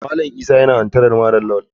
Malam isa bullies malam lawal.